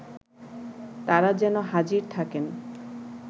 তারা যেন হাজির থাকেন